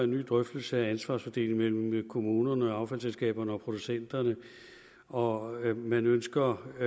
ny drøftelse af ansvarsfordelingen mellem kommunerne affaldsselskaberne og producenterne og man ønsker i